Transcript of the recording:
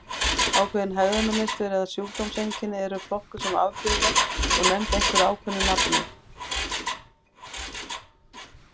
Ákveðin hegðunarmynstur eða sjúkdómseinkenni eru flokkuð sem afbrigðileg og nefnd einhverju ákveðnu nafni.